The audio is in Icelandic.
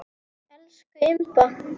Elsku Imba.